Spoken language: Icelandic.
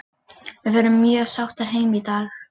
Við förum mjög sáttar heim í dag.